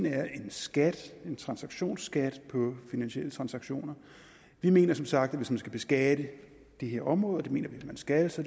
er en skat en transaktionsskat på finansielle transaktioner vi mener som sagt at hvis man skal beskatte det her område og det mener vi at man skal så